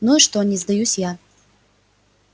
ну и что не сдаюсь я